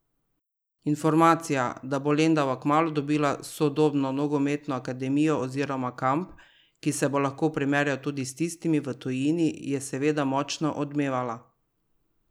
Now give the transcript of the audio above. Informacija, da bo Lendava kmalu dobila sodobno nogometno akademijo oziroma kamp, ki se bo lahko primerjal tudi s tistimi v tujini, je seveda močno odmevala.